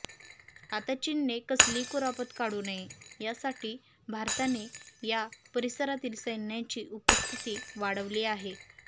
आता चीनने कसलीही कुरापत काढू नये यासाठीच भारताने या परिसरातील सैन्याची उपस्थिती वाढवली आहे